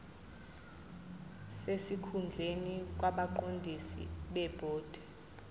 sesikhundleni kwabaqondisi bebhodi